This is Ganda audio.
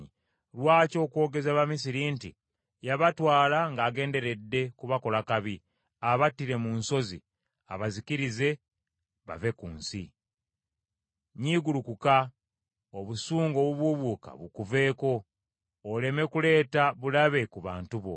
Lwaki okwogeza Abamisiri nti, ‘Yabatwala ng’agenderedde kubakola kabi, abattire mu nsozi, abazikirize, bave ku nsi?’ Nyiigulukuka, obusungu obubuubuuka bukuveeko, oleme kuleeta bulabe ku bantu bo.